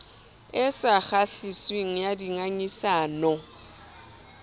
e sa kgahliseng ya dingangisano